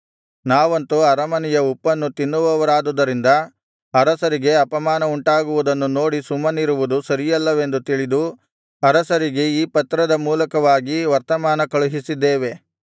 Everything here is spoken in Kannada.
ನಾವಂತು ಅರಮನೆಯ ಉಪ್ಪನ್ನು ತಿನ್ನುವವರಾದುದರಿಂದ ಅರಸರಿಗೆ ಅಪಮಾನವುಂಟಾಗುವುದನ್ನು ನೋಡಿ ಸುಮ್ಮನಿರುವುದು ಸರಿಯಲ್ಲವೆಂದು ತಿಳಿದು ಅರಸರಿಗೆ ಈ ಪತ್ರದ ಮೂಲಕವಾಗಿ ವರ್ತಮಾನ ಕಳುಹಿಸಿದ್ದೇವೆ